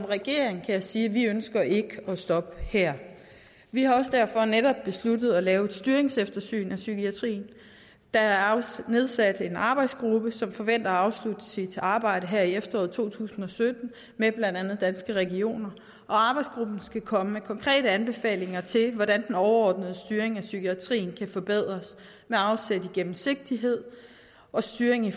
regeringen kan jeg sige at vi ikke ønsker at stoppe her vi har også derfor netop besluttet at lave et styringseftersyn af psykiatrien der er nedsat en arbejdsgruppe som forventer at afslutte sit arbejde her i efteråret to tusind og sytten med blandt andet danske regioner og arbejdsgruppen skal komme med konkrete anbefalinger til hvordan den overordnede styring af psykiatrien kan forbedres med afsæt i gennemsigtighed og styring af